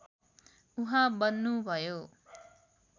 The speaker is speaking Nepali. उहाँ बन्नुभयो